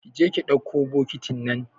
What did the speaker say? Kije ki dakko bokitin nan